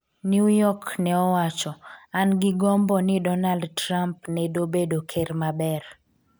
New York, ne owacho,'an gi gombo ni Donald Trump ne dobedo ker maber'